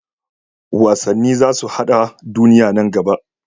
Wasanni za su haɗa duniya nan gaba.